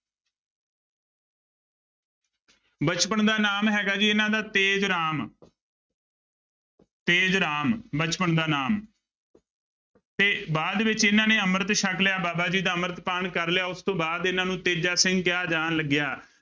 ਬਚਪਨ ਦਾ ਨਾਮ ਹੈਗਾ ਜੀ ਇਹਨਾਂ ਦਾ ਤੇਜ ਰਾਮ ਤੇਜ ਰਾਮ ਬਚਪਨ ਦਾ ਨਾਮ ਤੇ ਬਾਅਦ ਵਿੱਚ ਇਹਨਾਂ ਨੇ ਅੰਮ੍ਰਿਤ ਛਕ ਲਿਆ ਬਾਬਾ ਜੀ ਦਾ ਅੰਮ੍ਰਿਤਪਾਨ ਕਰ ਲਿਆ ਉਸ ਤੋਂ ਬਾਅਦ ਇਹਨਾਂ ਨੂੰ ਤੇਜਾ ਸਿੰਘ ਕਿਹਾ ਜਾਣ ਲੱਗਿਆ।